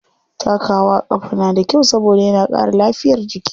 Takawa a ƙafa na da kyau saboda yana ƙara lafiyar jiki.